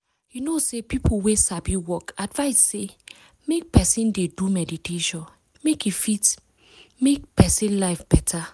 you know say people wey sabi work advice say make person dey do meditation make e fit make person life better.